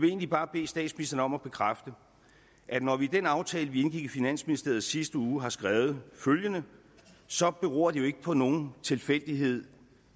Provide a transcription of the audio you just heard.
egentlig bare bede statsministeren om at bekræfte at når vi i den aftale vi indgik i finansministeriet i sidste uge har skrevet følgende så beror det ikke på nogen tilfældighed